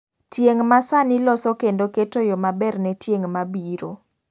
Tieng' masani loso kendo keto yo maber ne tieng' mabiro.